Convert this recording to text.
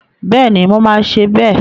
Bẹ́ẹ̀ni, mo máa ṣe bẹ́ẹ̀